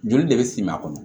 Joli de bɛ s'i ma